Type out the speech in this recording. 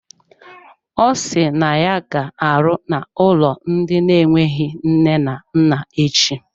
Ọ si na ya ga-arụ n'ụlọ ndị na-enweghị nne na nna echi.